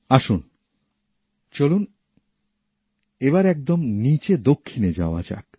আসুন চলুন এবার একদম নিচে দক্ষিণে যাওয়া যাক